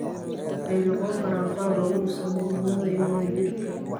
Waxay noqon karaan qalab lagu dhiso midnimada iyo wadajirka.